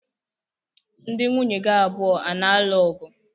Ndi nwunye gi abụọ a na-alụ ọgụ?